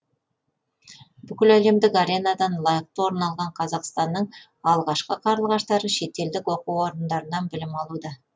бүкіләлемдік аренадан лайықты орын алған қазақстанның алғашқы қарлығаштары шетелдік оқу орындарынан білім алуда